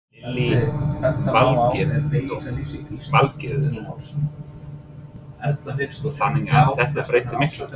Lillý Valgerður: Þannig að þetta breytir miklu?